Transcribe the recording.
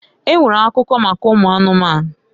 E nwere akuko maka ụmụ anụmanụ.